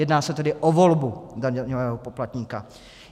Jedná se tedy o volbu daňového poplatníka.